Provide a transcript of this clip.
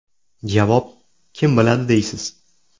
Javob: Kim biladi, deysiz.